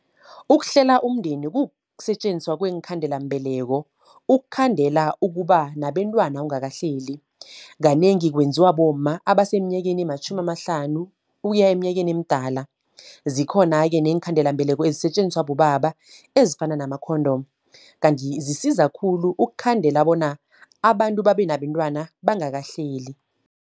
Ukuhlela umndeni kukusetjenziswa kweenkhandelambeleko. Ukukhandela ukuba nabentwana ungakahleli. Kanengi kwenziwa bomma abasemnyakeni ematjhumi amahlanu ukuya eminyakeni emdala. Zikhona-ke neenkhandelambeleko ezisetjenziswa bobaba, ezifana namakhondomu. Kanti zisiza khulu ukukhandela bona, abantu babe nabentwana bangakahleli.